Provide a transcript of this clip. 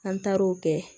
An taar'o kɛ